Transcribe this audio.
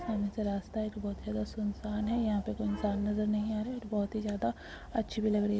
सामने से रास्ता एक बहोत ही ज्यादा सुनसान है। यहां पे कोई इंसान नजर नहीं आ रहा है। बहोत ही ज्यादा अच्छी भी लग रही --